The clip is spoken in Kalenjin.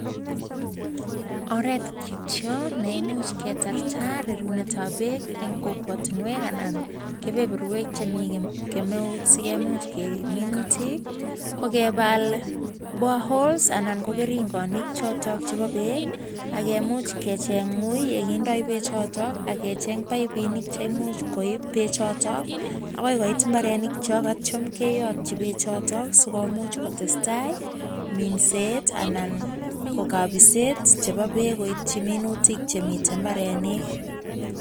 Oret kityo neimuch ketarta rerunet ab beek eng kokwatinwek anan kebeberwek chemi kemeut sikemuch kerib minutik kokebal borehole aman ko keringonik chotok chebo beek akemuch kecheny wui nekindoi beech chotok, AK kecheny paipinik cheipei bechotok agoi koit imbarenik chok atyo keyotchi bechotok sikomuch kotestai minset anan ko kabiset nebo beek sikomuch koitchi minutik chemitei imbarenik